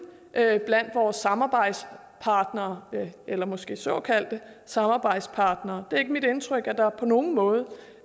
er blandt vores samarbejdspartnere eller måske såkaldte samarbejdspartnere det er ikke mit indtryk at der på nogen måde